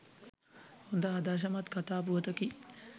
හොඳ ආදර්ශමත් කතා පුවතකි.